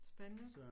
Spændende